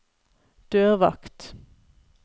dørvakt